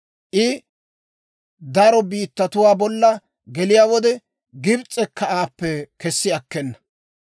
I daro biittatuwaa bolla geliyaa wode, Gibs'ekka aappe kessi akkena.